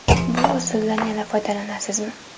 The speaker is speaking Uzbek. Bu usuldan yana foydalanasizmi?